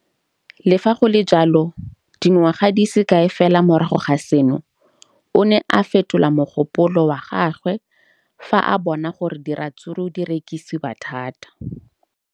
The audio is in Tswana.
Le fa go le jalo, dingwaga di se kae fela morago ga seno, o ne a fetola mogopolo wa gagwe fa a bona gore diratsuru di rekisiwa thata.